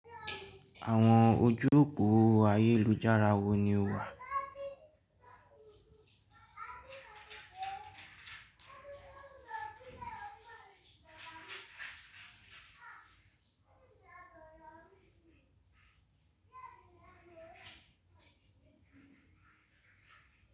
Àwọn ojú òpó ayélujára wo ni o wà?